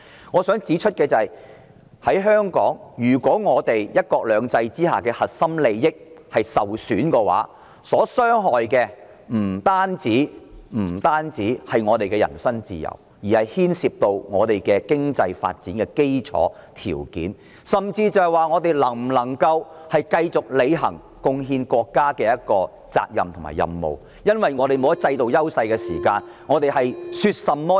我想指出的是，在香港，如果"一國兩制"之下的核心利益受損，受傷害的不單是我們的人身自由，而是牽涉到我們經濟發展的基礎條件，甚至是我們能否繼續履行貢獻國家的責任和任務，因為如果我們沒有了制度優勢，便變成了說甚麼枉然。